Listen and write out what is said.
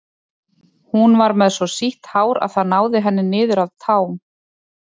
Hún var með svo sítt hár að það náði henni niður að tám.